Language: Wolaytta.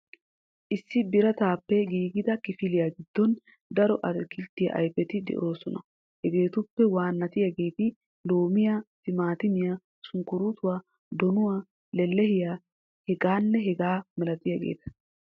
Issi biratappe giigida kifiliyaa giddon daro atakilttiyaa ayfeti de'oosona. Hegetuppe wannatiyaageeti loomiya, timaatimmiya, sunkkurutuwa, donuwaa, lelehiyanne heganne hegaa malatiyaageeta .